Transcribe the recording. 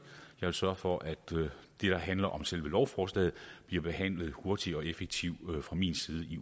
jeg vil sørge for at det der handler om selve lovforslaget bliver behandlet hurtigt og effektivt fra min side i